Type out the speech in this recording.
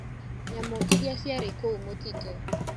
Nyamũ iriaciarĩ kũu mũtitũ.